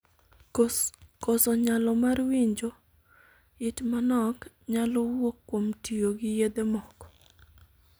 Koso nyalo mar winjo (it manok) nyalo wuok kuom tiyo gi yedhe moko.